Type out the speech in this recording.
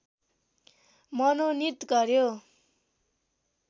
मनोनित गर्‍यो